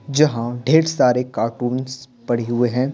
जहां ढेर सारे कार्टूनस पड़े हुए हैं।